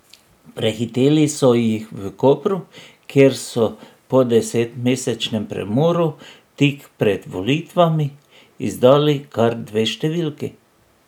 Prehiteli so jih v Kopru, kjer so po desetmesečnem premoru, tik pred volitvami izdali kar dve številki.